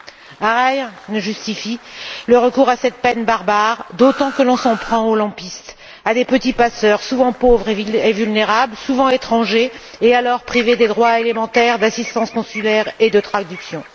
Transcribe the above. Or, rien ne justifie le recours à cette peine barbare, d'autant que l'on s'en prend à des lampistes, à de petits passeurs souvent pauvres et vulnérables, souvent étrangers et privés des droits élémentaires d'assistance consulaire et de traduction.